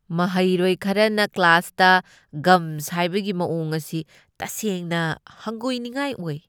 ꯃꯍꯩꯔꯣꯏ ꯈꯔꯅ ꯀ꯭ꯂꯥꯁꯇ ꯒꯝ ꯁꯥꯢꯕꯒꯤ ꯃꯑꯣꯡ ꯑꯁꯤ ꯇꯁꯦꯡꯅ ꯍꯪꯒꯣꯢꯅꯤꯉꯥꯢ ꯑꯣꯢ꯫